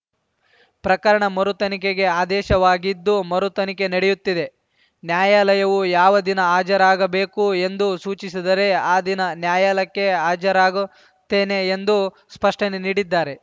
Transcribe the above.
ಪ್ರಕರಣ ಮರುತನಿಖೆಗೆ ಆದೇಶವಾಗಿದ್ದು ಮರುತನಿಖೆ ನಡೆಯುತ್ತಿದೆ ನ್ಯಾಯಾಲಯವು ಯಾವ ದಿನ ಹಾಜರಾಗಬೇಕು ಎಂದು ಸೂಚಿಸಿದರೆ ಆ ದಿನ ನ್ಯಾಯಾಲಯಕ್ಕೆ ಹಾಜರಾಗುತ್ತೇನೆ ಎಂದು ಸ್ಪಷ್ಟನೆ ನೀಡಿದ್ದಾರೆ